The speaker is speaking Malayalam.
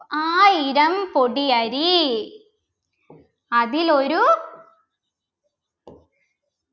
ആയിരം കൊടിയരി അതിലൊരു